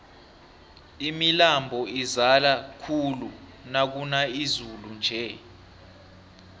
imilambo izala khulu nakuna izulu nje